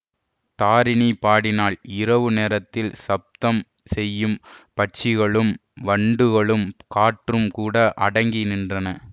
தாரிணி பாடினாள் இரவு நேரத்தில் சப்தம் செய்யும் பட்சிகளும் வண்டுகளும் காற்றும் கூட அடங்கி நின்றன